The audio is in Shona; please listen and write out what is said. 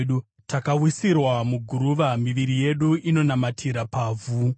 Takawisirwa muguruva; miviri yedu inonamatira pavhu.